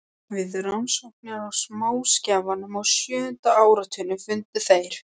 Við rannsóknir á smáskjálftum á sjöunda áratugnum fundu þeir